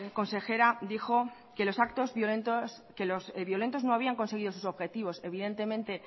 consejero dijo que los violentos no habían conseguido sus objetivos evidentemente